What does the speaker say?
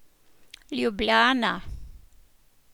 Ljubljana.